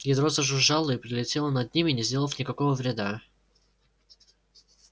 ядро зажужжало и пролетело над ними не сделав никакого вреда